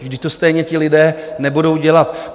Vždyť to stejně ti lidé nebudou dělat.